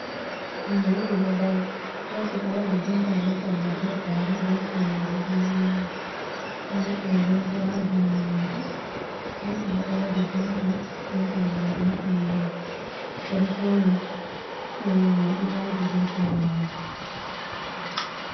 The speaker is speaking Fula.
Himɓe ɗiɗi ɗo dari, ɗo waɗi jompa be salla be gare, be hifinere ɗo wuringa, oɗo haɓɓi agogo ha jungo mako, hgotobo ɗo waɗa jompa be salla be finere oɗo fauni hifinere mai ɗo yadi be kare mako.